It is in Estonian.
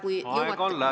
Aeg on läbi, aitäh!